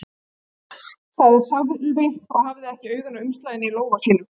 sagði Sölvi og hafði ekki augun af umslaginu í lófa sínum.